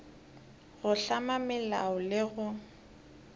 go hlama melao le go